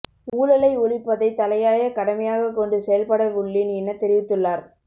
ஊழலை ஒழிப்பதை தலையாய கடமையாகக் கொண்டு செயல்பட உள்ளேன் என தெரிவித்துள்ளார்